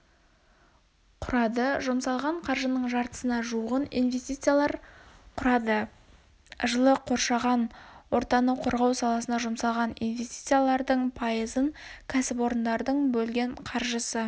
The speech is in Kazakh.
құрады жұмсалған қаржының жартысына жуығын инвестициялар құрады жылы қоршаған ортаны қорғау саласына жұмсалған инвестициялардың пайызын ксіпорындардың бөлген қаржысы